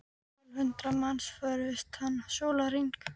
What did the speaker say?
Tólf hundruð manns fórust þann sólarhring.